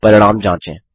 परिणाम जाँचे